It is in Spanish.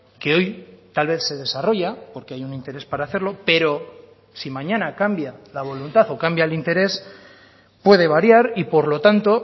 que hoy tal vez se desarrolla porque hay un interés para hacerlo pero si mañana cambia la voluntad o cambia el interés puede variar y por lo tanto